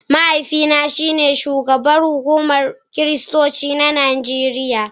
mahaifina shine shugaban kungiyar kiristoci ta Najeriya